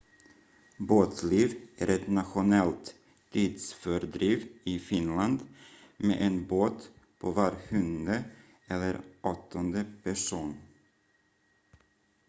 båtliv är ett nationellt tidsfördriv i finland med en båt på var sjunde- eller åttonde person